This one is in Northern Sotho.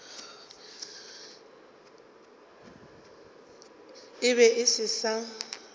e be e se sa